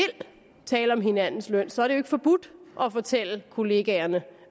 tale om hinandens løn så er det heldigvis ikke forbudt at fortælle kollegaen